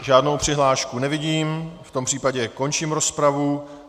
Žádnou přihlášku nevidím, v tom případě končím rozpravu.